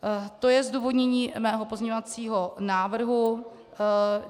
To je zdůvodnění mého pozměňovacího návrhu.